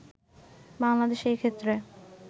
বাংলাদেশে এক্ষেত্রে